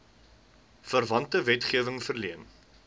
verwante wetgewing verleen